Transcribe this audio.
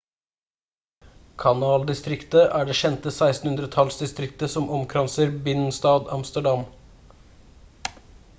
kanaldistriktet er det kjente 1600-tallsdistriktet som omkranser binnenstad amsterdam